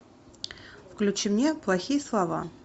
включи мне плохие слова